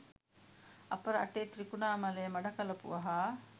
අප රටේ ත්‍රිකුණාමලය මඩකලපුව හා